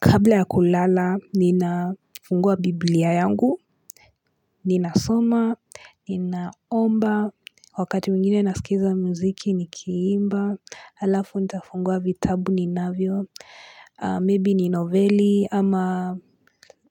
Kabla ya kulala, ninafungua biblia yangu, ninasoma, ninaomba, wakati mwingine nasikiza muziki nikiimba, alafu nitafungua vitabu ninavyo, maybe ni novelli, ama